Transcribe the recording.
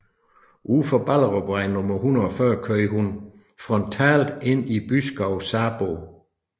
Ud for Ballevej nummer 140 kørte hun frontalt ind i Byskov Sarbo